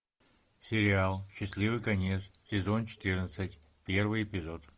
сериал счастливый конец сезон четырнадцать первый эпизод